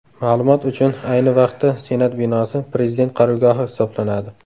Ma’lumot uchun, ayni vaqtda Senat binosi Prezident qarorgohi hisoblanadi.